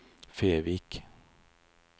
Fevik